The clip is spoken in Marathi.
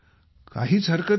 काहीच हरकत नाही